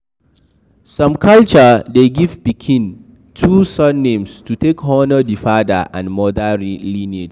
Some culture de give pikin two surnames to take honor the father and the mother lineage